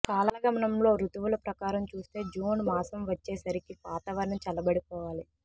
కాలగమనంలో రుతువుల ప్రకారం చూస్తే జూన్ మాసం వచ్చేసరికి వాతావరణం చల్లబడిపోవాలి